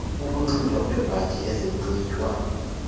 ukunxitywa kweebhatyi ezinxitywa